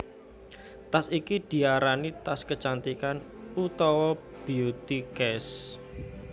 Tas iki diarani tas kecantikan utawa beauty case